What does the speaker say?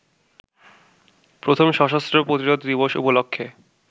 প্রথম সশস্ত্র প্রতিরোধ দিবস উপলক্ষে